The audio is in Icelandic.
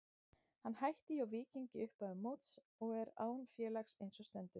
Hann hætti hjá Víking í upphafi móts og er án félags eins og stendur.